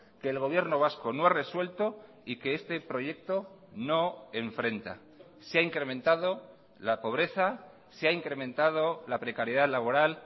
que el gobierno vasco no ha resuelto y que este proyecto no enfrenta se ha incrementado la pobreza se ha incrementado la precariedad laboral